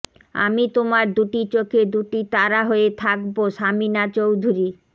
আমি তোমার দুটি চোখে দুটি তারা হয়ে থাকবো সামিনা চৌধুরী